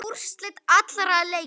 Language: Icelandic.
Úrslit allra leikja